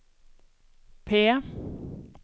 P